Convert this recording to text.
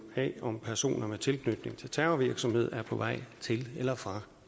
af om personer med tilknytning til terrorvirksomhed er på vej til eller fra